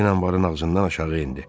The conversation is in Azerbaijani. Den anbarın ağzından aşağı indi.